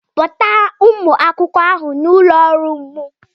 Kpọta ụmụ akwụkwọ ahụ n'ụlọ ọrụ m